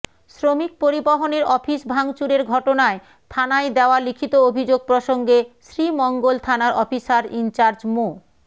শ্রমিক পরিবহনের অফিস ভাঙচুরের ঘটনায় থানায় দেওয়া লিখিত অভিযোগ প্রসঙ্গে শ্রীমঙ্গল থানার অফিসার ইনচার্জ মো